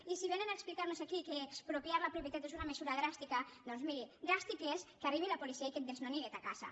i si vénen a explicarnos aquí que expropiar la propietat és una mesura dràstica doncs miri dràstic és que arribi la policia i que et desnoni de ta casa